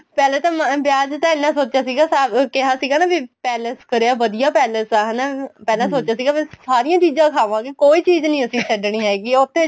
ਪਹਿਲੇ ਤਾਂ ਵਿਆਹ ਚ ਤਾਂ ਐਨਾ ਸੋਚਿਆ ਸੀਗਾ ਕਿਹਾ ਸੀਗਾ ਨਾ ਵੀ palace ਕਰਿਆ ਵਧੀਆ palace ਆ ਹਨਾ ਪਹਿਲਾਂ ਸੋਚਿਆ ਸੀ ਅਸੀਂ ਸਾਰੀਆਂ ਚੀਜ਼ਾਂ ਖਾਵਾਂਗੇ ਕੋਈ ਚੀਜ਼ ਨਹੀਂ ਛੱਡਣੀ ਹੈਗੀ ਉੱਥੇ